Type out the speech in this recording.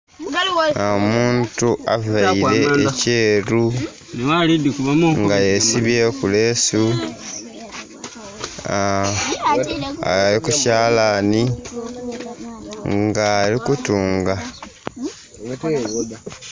Omuntu aveire ekyeru nga yesibyeku leesu ali ku kyalani nga ali kutunga.